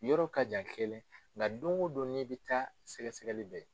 I yɔrɔ ka jan kelen , nga don o don n'i bi taa sɛgɛgɛli bɛ yen.